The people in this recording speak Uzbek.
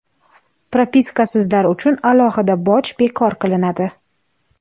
Propiskasizlar uchun alohida boj bekor qilinadi.